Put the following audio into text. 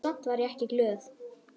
Samt var ég ekki glöð.